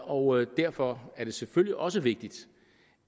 og derfor er det selvfølgelig også vigtigt